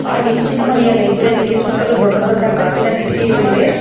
ಆ ಹೆಂಚಿನ ಮನೆಯ ಲೈಬ್ರರಿಗೆ ಸುತ್ತಲೂ ದೊಡ್ಡ ದೊಡ್ಡ ಗಾಜಿನ ಕಿಟಕಿಗಳಿವೆ.